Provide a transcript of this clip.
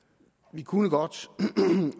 vi kunne godt